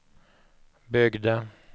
byggde